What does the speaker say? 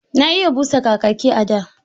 Na iya busa Kakaki a da.